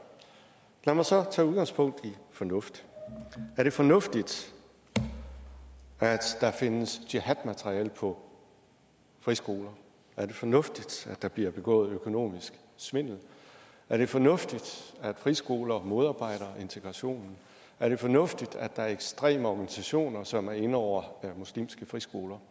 lad mig så tage udgangspunkt i fornuft er det fornuftigt at der findes jihadmateriale på friskoler er det fornuftigt at der bliver begået økonomisk svindel er det fornuftigt at friskoler modarbejder integrationen er det fornuftigt at der er ekstreme organisationer som er inde over muslimske friskoler